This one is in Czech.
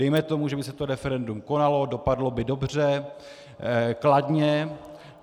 Dejme tomu, že by se to referendum konalo, dopadlo by dobře, kladně.